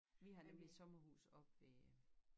Vi har nemlig sommerhus oppe ved